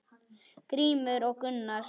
Grímur og Gunnar.